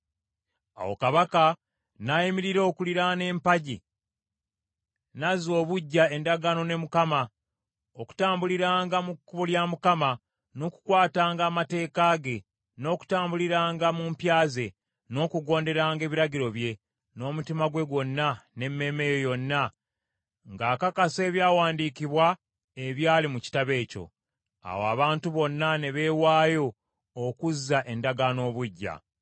Awo kabaka n’ayimirira okuliraana empagi n’azza obuggya endagaano ne Mukama , okutambuliranga mu kkubo lya Mukama , n’okukwatanga amateeka ge, n’okutambuliranga mu mpya ze, n’okugonderanga ebiragiro bye, n’omutima gwe gwonna, n’emmeeme ye yonna, ng’akakasa ebyawandiikibwa ebyali mu kitabo ekyo. Awo abantu bonna ne beewaayo okuzza endagaano obuggya.